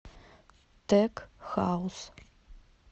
тек хаус